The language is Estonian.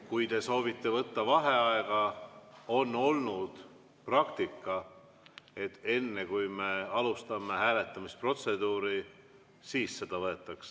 Kui te soovite võtta vaheaega, on olnud praktika, et enne, kui me alustame hääletamisprotseduuri, siis seda võetakse.